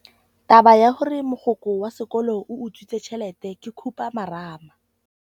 Taba ya gore mogokgo wa sekolo o utswitse tšhelete ke khupamarama.